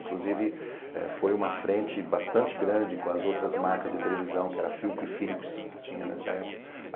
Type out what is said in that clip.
Inclusive, eh foi uma frente bastante grande com as outras marcas de televisão, que era Philco e Philips, que tinha nessa época.